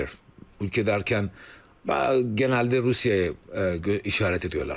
Ölkə dərkən genəldə Rusiyaya işarət edirlər.